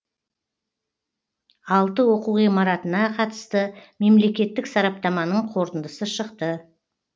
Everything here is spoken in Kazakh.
алты оқу ғимаратына қатысты мемлекеттік сараптаманың қорытындысы шықты